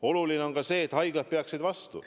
Oluline on ka see, et haiglad peaksid vastu.